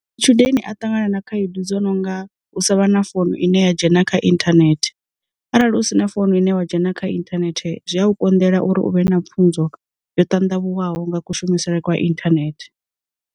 Matshudeni a ṱangana na khaedu dzo nonga u sa vha na founu ine ya dzhena kha inthanethe, arali u sina founu ine wa dzhena kha internet zwi a u konḓela uri u vhe na pfunzo yo ṱandavhuwaho nga kushumisele kwa inthanethe.